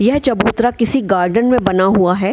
यह चबूतरा किसी गार्डन में बना हुआ है।